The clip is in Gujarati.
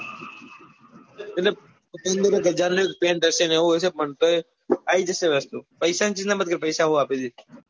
એટલે કે પેન્ટ હશે ને એવું હશે પણ ત્ય આવી જશે વસ્તુ પૈસા ની ચિંતા મત કર પપૈસા હું આપી દઈસ.